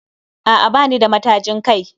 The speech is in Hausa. A'a bani da matajin kai